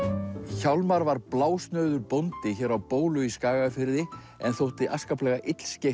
hjálmar var blásnauður bóndi hér á bólu á Skagafirði en þótti afskaplega